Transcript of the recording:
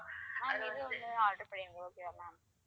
அஹ் இது ஒன்னு order பண்ணிருங்க okay வா ma'am